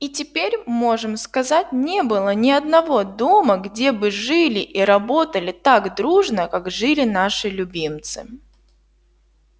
и теперь можем сказать не было ни одного дома где бы жили и работали так дружно как жили наши любимцы